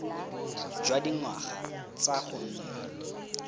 jwa dingwaga tsa go nna